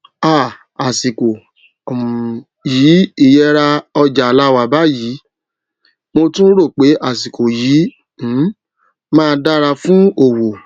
um àsìkò um yìí iyẹra ọjà láwà báyìí mo tún ro pe àsìkò yìí um má dára fún owó